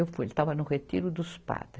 Eu fui, ele estava no retiro dos padres.